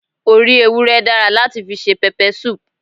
Orí ewúré dára láti fi se pepper soup